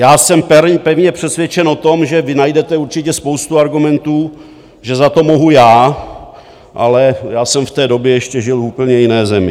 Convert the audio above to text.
Já jsem pevně přesvědčen o tom, že vy najdete určitě spoustu argumentů, že za to mohu já, ale já jsem v té době ještě žil v úplně jiné zemi.